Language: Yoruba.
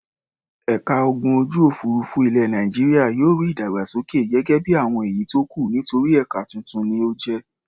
Ẹ̀ka ogun ojú-òfurufú ilẹ̀ Nàìjíríà yóò rí ìdàgbàsókè gẹ́gẹ́ bí àwọn èyí tó kù nítorí ẹ̀ka tuntun ni ó jẹ́.